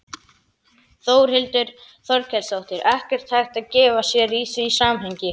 Þórhildur Þorkelsdóttir: Ekkert hægt að gefa sér í því samhengi?